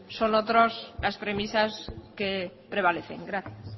son otros las premisas que prevalecen gracias